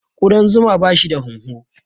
Ƙudan zuma bashi da hunhu.